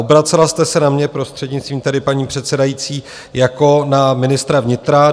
Obracela jste se na mě, prostřednictvím tedy paní předsedající, jako na ministra vnitra.